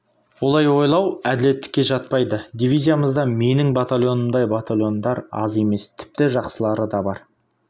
олай ойлау әділеттікке жатпайды дивизиямызда менің батальонымдай батальондар аз емес тіпті жақсылары да бар